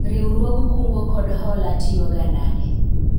riwruog kungo kod hola tiyo ga nade?